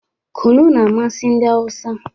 Kunu na-amasị ndị Hausa